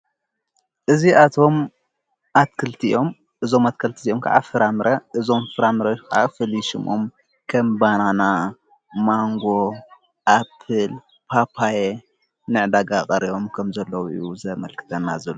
እዚኣቶም ኣትክልቲ እዮም እዞም አትክልቲ እዚኦም ከዓ ፍራምረ እዞም ፍራምረ ክዓ ፍሉይ ሽሞም ከም ባናና ፣ ማንጎ፣ ኣፕል፣ ፓፓየ ንዕዳጋ ቐሪቦም ከም ዘለው እዩ ዘመልክተና ዘሎ።